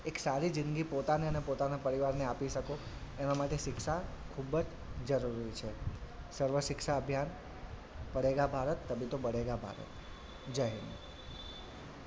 એક સારી જિંદગી પોતાને અને પોતાનાં પરિવારને આપી શકો એનાં માટે શિક્ષા ખુબ જ જરૂરી છે સર્વ શિક્ષા અભિયાન પઢેગા ભારત તભી તો બઢેગા ભારત.